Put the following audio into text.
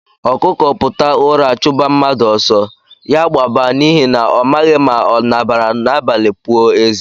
Okuko puta ụra chuba mmadụ ọsọ, ya gbaba n'ihi na ọ maghị ma ọ nabaara n'abalị pụọ eze.